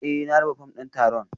Eh na raba fom din taron